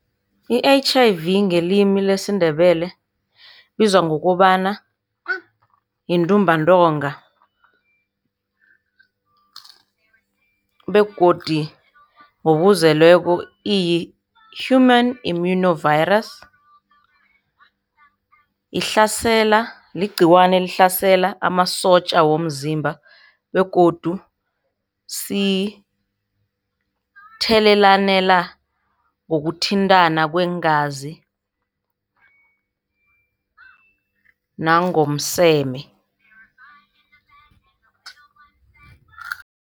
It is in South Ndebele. I-H_I_V ngelimi lesiNdebele ibizwa ngokobana yintumbantonga begodu ngokuzeleko iyi-human immune virus. Ihlasela, ligciwane elihlasela amasotja womzimba begodu sithelelana ngokuthintana kweengazi nangomseme.